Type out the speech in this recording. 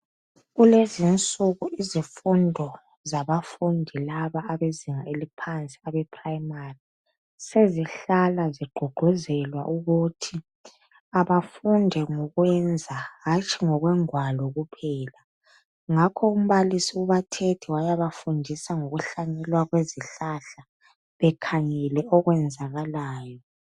kulezinsuku kulezimfundo zababafundi laba abezinga eliphansi ebe primary sezihlala ziqhuquzelwa ukuthi abafunde ngokwenza hatshi ngokwengwalo kuphela ngakho umbalisi ubathethe wayaba fundisa ngokuhlanyelwa kwezihlahla bekhangele okwenzakalayo